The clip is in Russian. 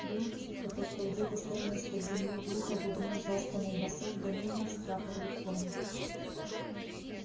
было тихо только где то словно из под земли глухо бубнил заспанный басок да мирно всхрапывали кони